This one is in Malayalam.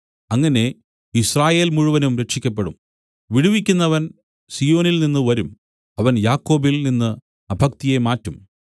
അങ്ങനെ യിസ്രായേൽ മുഴുവനും രക്ഷിയ്ക്കപ്പെടും വിടുവിക്കുന്നവൻ സീയോനിൽനിന്നു വരും അവൻ യാക്കോബിൽ നിന്നു അഭക്തിയെ മാറ്റും